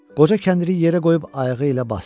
Qoca kəndiri yerə qoyub ayağı ilə basdı.